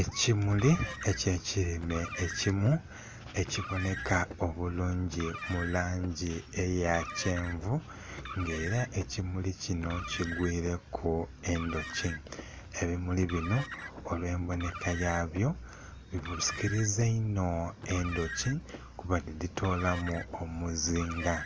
Ekimuli ekye kilime ekimu, ekibonheka obulungi mu langi eya kyenvu nga era ekimuli kinho kigwireku endhuki. Ebimuli binho olw'embonheka yaabyo bisikiliza inho endhuki kuba dhibitoolamu omuzinga